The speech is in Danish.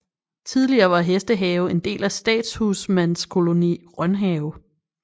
Tidligere var Hestehave en del af Statshusmandskoloni Rønhave